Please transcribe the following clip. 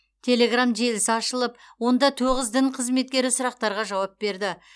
телеграмм желісі ашылып онда тоғыз дін қызметкері сұрақтарға жауап береді